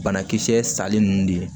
Banakisɛ sali ninnu de ye